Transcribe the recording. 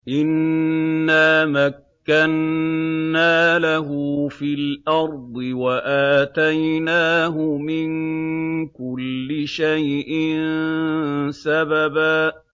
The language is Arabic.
إِنَّا مَكَّنَّا لَهُ فِي الْأَرْضِ وَآتَيْنَاهُ مِن كُلِّ شَيْءٍ سَبَبًا